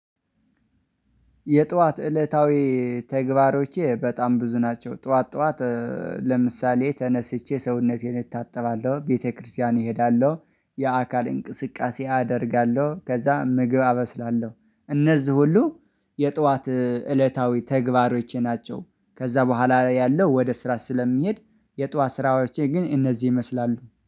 የጧት እለታዊ ተግባሮቼ በጣም ብዙ ናቸው። ጧት ጧት ለምሳሌ ተነስቼ ሰውነቴን እታጠባለሁ ቤተክርስቲያን እሄዳለሁ የአካል እንቅስቃሴ አደርጋለሁ ከዛ ምግብ አበስላለሁ። እነዚህ ሁሉ የጧት እለታዊ ተግባሮቼ ናቸው። ከዛ በኋላ ያለው ወደ ስራ ስለሚሄድ የጧት ስራዎቼ ግን እነዚህ ይመስላሉ